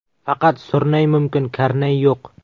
Faqat surnay mumkin, karnay yo‘q”.